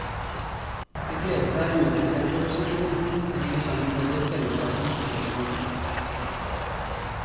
De fleste er uinteresserte i opposisjon, det henger sammen med deres selvoppfatning som helt unike.